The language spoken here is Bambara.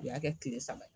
U y'a kɛ kile saba ye